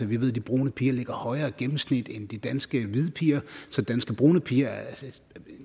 vi ved at de brune piger ligger højere i gennemsnit end de danske hvide piger så danske brune piger er